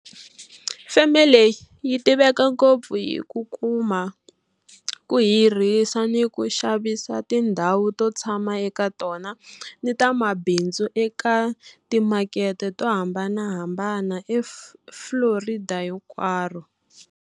Feme leyi yi tiveka ngopfu hi ku kuma, ku hirhisa ni ku xavisa tindhawu to tshama eka tona ni ta mabindzu eka timakete to hambanahambana eFlorida hinkwaro.